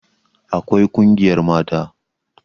Akwai ƙungiyar mata